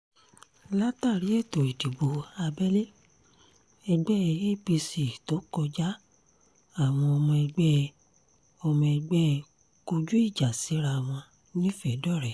látàrí ètò ìdìbò abẹ́lé ẹgbẹ́ apc tó kọjá àwọn ọmọ ẹgbẹ́ ọmọ ẹgbẹ́ kọjú ìjà síra wọn nifedore